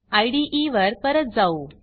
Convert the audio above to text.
इदे वर परत जाऊ